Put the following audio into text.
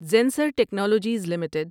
Zensar Technologies limited